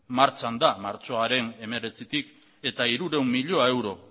martxan da martxoaren hemeretzitik eta hirurehun mila euro